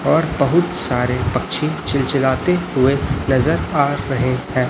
और बहुत सारे पक्षी चिलचिलाते हुए नजर आ रहे है।